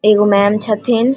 एगो मेम हथीन ।